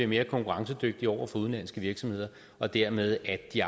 mere konkurrencedygtige over for udenlandske virksomheder og dermed at de